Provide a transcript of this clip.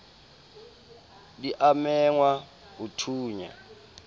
di a mengwa ho thonya